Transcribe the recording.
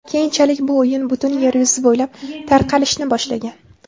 Keyinchalik bu o‘yin butun yer yuzi bo‘ylab tarqalishni boshlagan.